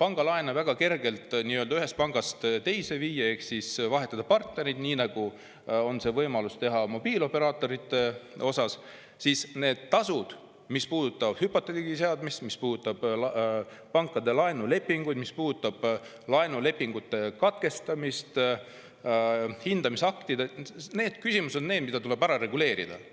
pangalaene tõesti väga kergelt ühest pangast teise viia ehk vahetada partnerit, nii nagu on see võimalus mobiilioperaatorite puhul, tuleb need küsimused, mis puudutavad hüpoteegi seadmist, mis puudutavad pankade laenulepinguid, mis puudutavad laenulepingute katkestamist, hindamisakte, ära reguleerida.